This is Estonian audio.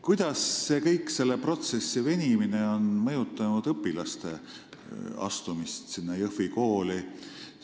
Kuidas see kõik, selle protsessi venimine, on mõjutanud õpilaste astumist sellesse Jõhvi kooli?